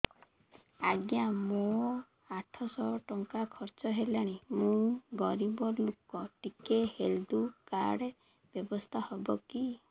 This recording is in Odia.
ଆଜ୍ଞା ମୋ ଆଠ ସହ ଟଙ୍କା ଖର୍ଚ୍ଚ ହେଲାଣି ମୁଁ ଗରିବ ଲୁକ ଟିକେ ହେଲ୍ଥ କାର୍ଡ ବ୍ୟବସ୍ଥା ହବ କି